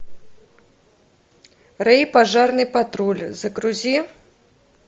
рэй пожарный патруль загрузи